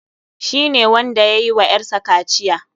Shi ne wanda yayi wa ƴar sa kaciya.